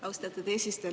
Austatud eesistuja!